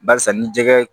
Barisa ni jɛgɛ